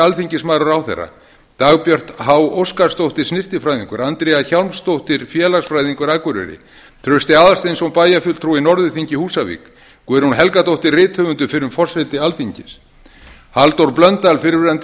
alþingismaður og ráðherra dagbjört h óskarsdóttir snyrtifræðingur andrea hjálmsdóttir félagsfræðingur akureyri trausti aðalsteinsson bæjarfulltrúi norðurþingi húsavík guðrún helgadóttir rithöfundur fyrrum forseti alþingis halldór blöndal fyrrverandi